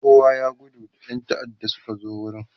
kowa ya gudu Dan ƴan ta'adda Suka zo wurin zaɓen